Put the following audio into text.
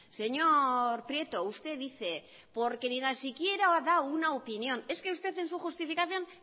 señor prieto usted dice porque ni tan siquiera da una opinión es que usted en su justificación